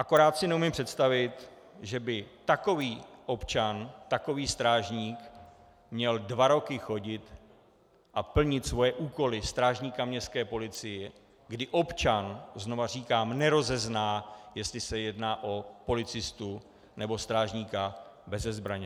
Akorát si neumím představit, že by takový občan, takový strážník měl dva roky chodit a plnit svoje úkoly strážníka městské policie, kdy občan, znovu říkám, nerozezná, jestli se jedná o policistu, nebo strážníka beze zbraně.